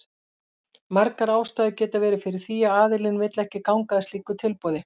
Margar ástæður geta verið fyrir því að aðilinn vill ekki ganga að slíku tilboði.